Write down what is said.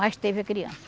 Mas teve a criança.